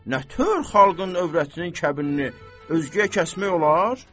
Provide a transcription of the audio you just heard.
Nə tör xalqın övrətinin kəbinini özgəyə kəsmək olar?